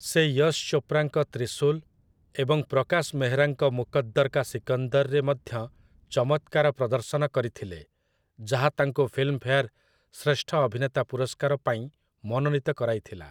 ସେ ୟଶ୍ ଚୋପ୍ରାଙ୍କ 'ତ୍ରିଶୂଲ୍' ଏବଂ ପ୍ରକାଶ୍ ମେହରାଙ୍କ 'ମୁକଦ୍ଦର୍ କା ସିକନ୍ଦର'ରେ ମଧ୍ୟ ଚମତ୍କାର ପ୍ରଦର୍ଶନ କରିଥିଲେ, ଯାହା ତାଙ୍କୁ ଫିଲ୍ମଫେୟାର୍ ଶ୍ରେଷ୍ଠ ଅଭିନେତା ପୁରସ୍କାର ପାଇଁ ମନୋନୀତ କରାଇଥିଲା ।